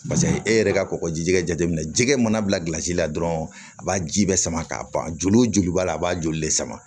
e yɛrɛ ka kɔgɔjij'a jateminɛ jɛgɛ mana bilasira dɔrɔn a b'a ji bɛ sama k'a ban joli b'a la a b'a joli le sama